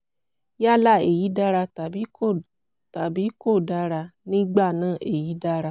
yálà èyí dára tàbí kò tàbí kò dára; nígbà náà èyí dára